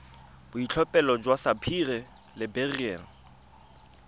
boitlhophelo jwa sapphire le beryl